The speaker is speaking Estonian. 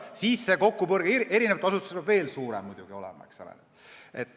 Siis hakkab see eri asutuste kokkupuude veel suurem olema.